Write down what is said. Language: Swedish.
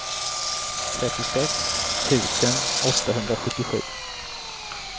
trettiosex tusen åttahundrasjuttiosju